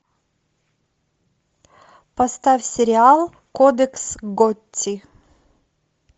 поставь сериал кодекс готти